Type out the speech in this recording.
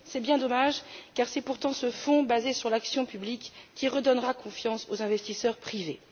C'est bien dommage, car c'est pourtant ce Fonds basé sur l'action publique qui redonnera confiance aux investisseurs privés.